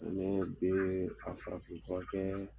Ne bɛ a farafin fura kɛɛ